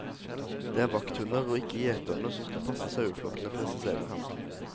Det er vakthunder og ikke gjeterne som skal passe saueflokkene, presiserer han.